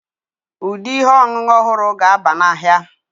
Ụdị ihe ọṅụṅụ ọhụrụ ga-aba n'ahịa.